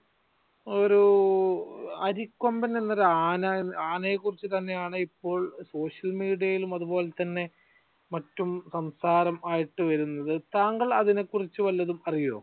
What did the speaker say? ഒരു അരികൊമ്പൻ എന്ന ഒരു ആന ആനയെ കുറിച്ച് തന്നെയാണ് ഇപ്പോൾ social media യിലും അതുപോലെ തന്നെ മറ്റും സംസാരം ആയിട്ട് വരുന്നത് താങ്കൾ അതിനെ കുറിച്ച് വല്ലതും അറിയോ?